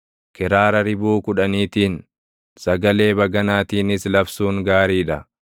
kiraara ribuu kudhaniitiin, sagalee baganaatiinis labsuun gaarii dha.